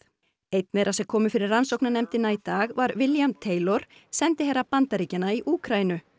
einn þeirra sem komu fyrir rannsóknarnefndina í dag var William sendiherra Bandaríkjanna í Úkraínu